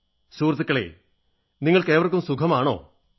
സുഹൃത്തുക്കളേ നിങ്ങൾക്കേവർക്കും സുഖമാണോ